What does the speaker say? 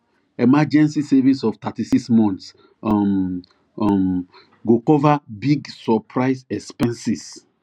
emergency savings of 36 months um um go cover big surprise expenses